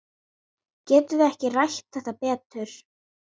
Getum við ekki rætt þetta betur?